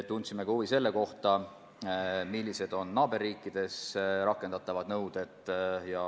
Tundsime ka huvi selle kohta, millised on naaberriikides rakendatavad nõuded.